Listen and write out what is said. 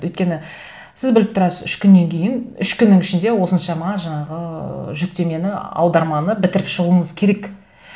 өйткені сіз біліп тұрасыз үш күннен кейін үш күннің ішінде осыншама жаңағы ыыы жүктемені аударманы бітіріп шығуыңыз керек